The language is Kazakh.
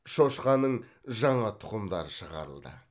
шошқаның жаңа тұқымдары шығарылды